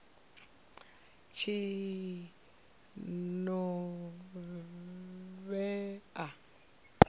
tshinovhea